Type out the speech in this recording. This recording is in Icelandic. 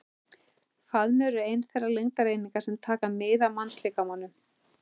Faðmur er ein þeirra lengdareininga sem taka mið af mannslíkamanum.